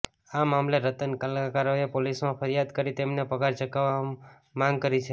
આ મામલે રત્ન કલાકારોએ પોલીસમાં ફરિયાદ કરી તેમને પગાર ચુકવવા માંગ કરી છે